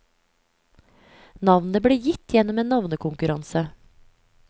Navnet ble gitt gjennom en navnekonkurranse.